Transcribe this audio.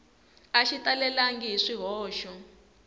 a xi talelangi hi swihoxo